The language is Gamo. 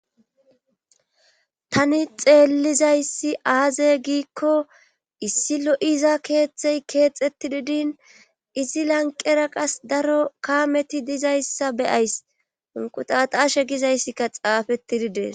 tani xeellizayssi aaze giikko issi lo7iza keeththey keexeti didin izi lanqera qas daro kaameti dizayssa beyays unqutatashe gizayssikka xaafettididees